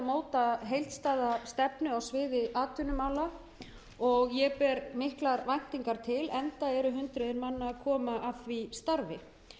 móta heildstæða stefnu á sviði atvinnumála og ég ber miklar væntingar til enda eru hundruð manna að koma að